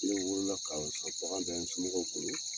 Ne wolo la k'a sɔrɔ bagan bɛ n somɔgɔw bolo